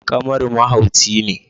Kamaru mahauci ne